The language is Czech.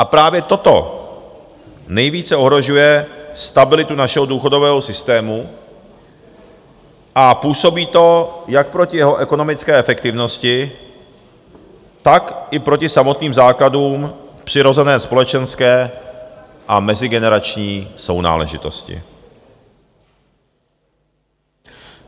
A právě toto nejvíce ohrožuje stabilitu našeho důchodového systému a působí to jak proti jeho ekonomické efektivnosti, tak i proti samotným základům přirozené společenské a mezigenerační sounáležitosti.